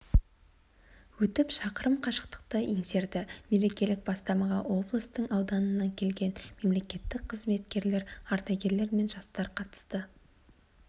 өтіп шақырым қашықтықты еңсерді мерекелік бастамаға облыстың ауданынан келген мемлекеттік қызметкерлер ардагерлер мен жастар қатысты